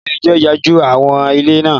Ilé ẹjọ́ yanjú aáwò ilẹ̀ náà